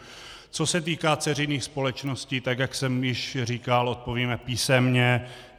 Co se týká dceřiných společností, tak jak jsem již říkal, odpovíme písemně.